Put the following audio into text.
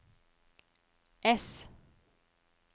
ess